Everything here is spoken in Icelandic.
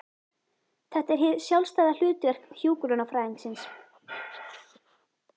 Þetta er hið sjálfstæða hlutverk hjúkrunarfræðingsins.